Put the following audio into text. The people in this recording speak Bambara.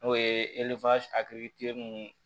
N'o ye mun